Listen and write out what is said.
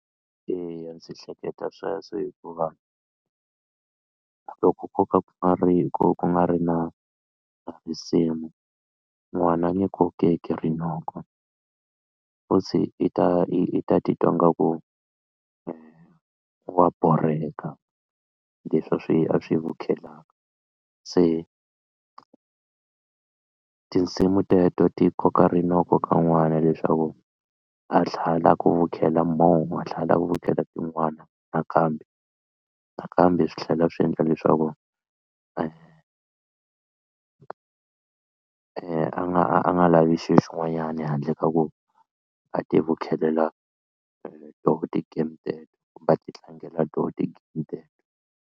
Eya ndzi hleketa sweswo hikuva loko ko ka ku nga ri hi ku ku nga ri na na risimu n'wana ni kokeke rinoko futhi i ta i ta titwa nga ku wa borheka leswi a swi a swi vukhelaka se tinsimu teto ti koka rinoko ka n'wana leswaku a tlhela a lava ku vukhela more a tlhela a lava ku vukhela tin'wana nakambe nakambe swi tlhela swi endla leswaku a nga a nga lavi xilo xin'wanyana handle ka ku a tivukhelela toho ti-game teto kumbe a titlangela toho ti-game teto.